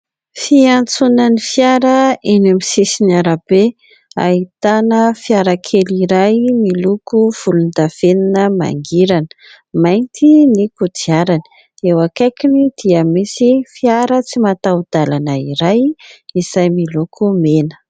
Fiantsonan'ny fiara eny amin'ny sisin'ny arabe. Ahitana fiarakely iray miloko volondavenona mangirana, mainty ny kodiarany ; eo akaikiny dia misy fiara tsy mataho-dalana iray izay miloko mena.